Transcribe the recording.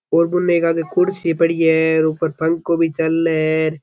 ओर बुने एकादि कुर्सी पड़ी है ऊपर पंखो भी चाले।